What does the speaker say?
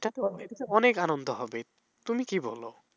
অনেক আনন্দ হবে তুমি কি বলো?